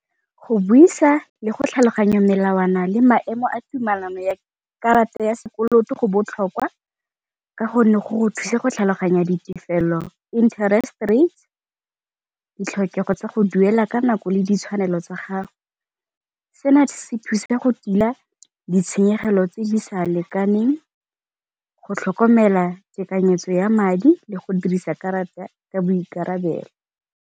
Go buisa le go tlhaloganya melawana le maemo a tumelano ya karata ya sekoloto go botlhokwa, ka gonne go go thusa go tlhaloganya ditefelelo, interest rate ditlhokego tsa go duela ka nako le ditshwanelo tsa gago. Seno se thusa go tila ditshenyegelo tse di sa lekaneng, go tlhokomela tekanyetso ya madi le go dirisa karata ka boikarabelo.